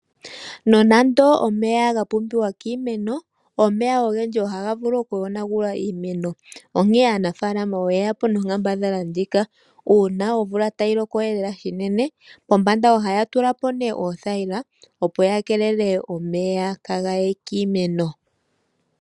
Nonando omeya oga pumbiwa kiimeno, omeya ogendji ohaga vulu okuyonagula iimeno. Onkene aanafalama oyeyapo nonkambadhala ndjika, uuna omvula tayi loko unene, pombanda ohaya tulapo othayila, opo yi keelele omeya kaaga ye kiimeno.